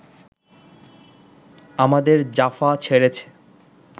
আমাদের জাফা ছেড়ে